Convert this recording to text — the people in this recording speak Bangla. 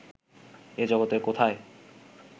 এ জগতের কোথায়